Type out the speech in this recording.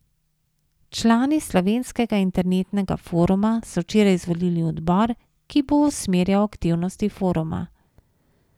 Člani Slovenskega internetnega foruma so včeraj izvolili odbor, ki bo usmerjal aktivnosti foruma.